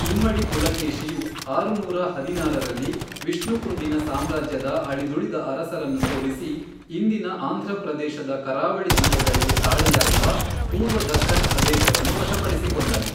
ಇಮ್ಮಡಿ ಪುಲಕೇಶಿಯು ಆರುನೂರ ಹದಿನಾರರಲ್ಲಿ, ವಿಷ್ಣುಕುಂಡಿನ ಸಾಮ್ರಾಜ್ಯದ ಅಳಿದುಳಿದ ಅರಸರನ್ನು ಸೋಲಿಸಿ, ಇಂದಿನ ಆಂಧ್ರ ಪ್ರದೇಶದ ಕರಾವಳಿ ಜಿಲ್ಲೆಗಳಿಗೆ ತಾಳೆಯಾಗುವ ಪೂರ್ವ ದಖ್ಖನ್ ಪ್ರದೇಶವನ್ನು ವಶಪಡಿಸಿಕೊಂಡನು.